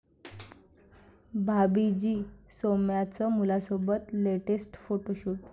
भाभी जी' सौम्याचं मुलासोबत लेटेस्ट फोटोशूट